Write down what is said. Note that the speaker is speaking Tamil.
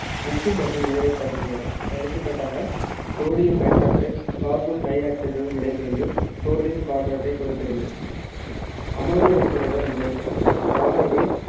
உப்பு மற்றும் நீரைத் தருகின்றன எடுத்துக்காட்டாக sodium hydroxide carbon dioxide உடன் வினைபுரிந்து sodium carbonate ஐக் கொடுக்கிறது அம்மோனியா உப்புகளுடன் வினை காரங்கள்